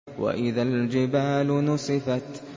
وَإِذَا الْجِبَالُ نُسِفَتْ